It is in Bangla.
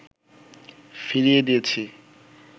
ফিরিয়ে দিয়েছি